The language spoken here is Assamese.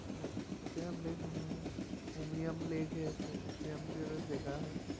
অ উকিয়ায় লেক নহয় উবিয়াম লেক হে আছে উকীয়ামটো এটা যেগা হয়